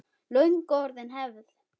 Löngu orðin hefð.